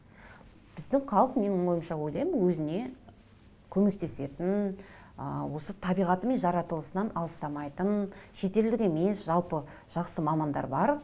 біздің халық менің ойымша ойлаймын өзіне көмектесетін ыыы осы табиғаты мен жаратылысынан алыстамайтын шетелдік емес жалпы жақсы мамандар бар